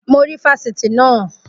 Mo rí ifásitì naa